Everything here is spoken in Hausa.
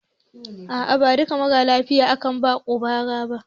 A a ba duka maralafiya aka ba quinn ba ra ba